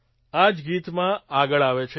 આ જ ગીતમાં આગળ આવે છે